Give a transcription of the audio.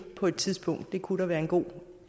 på et tidspunkt det kunne der være en god